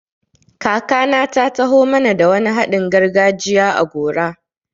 Kakana ta taho mana da wani haɗin gargajiya a gora.